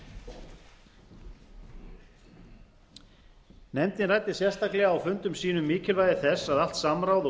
atriði nefndin ræddi sérstaklega á fundum sínum mikilvægi þess að allt samráð og